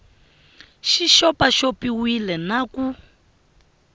xi xopaxop iwile na ku